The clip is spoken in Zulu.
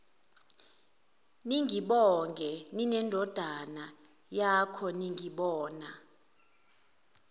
ningibonge ninendodana yakhoningibona